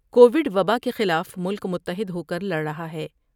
Covid وبا کے خلاف ملک متحد ہوکر لڑ رہا ہے ۔